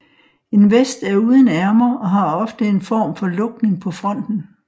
En vest er uden ærmer og har ofte en form for lukning på fronten